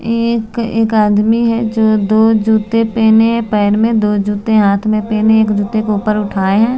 ये ए-एक आदमी है जो दो जूते पहने है पैर में दो जूते हाथ में पहने है एक जूते को ऊपर उठाए है।